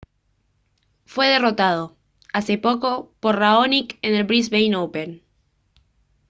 fue derrotado hace poco por raonic en el brisbane open